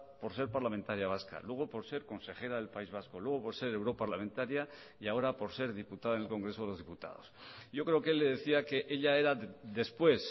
por ser parlamentaria vasca luego por ser consejera del país vasco luego por ser europarlamentaria y ahora por ser diputada en el congreso de los diputados yo creo que él le decía que ella era después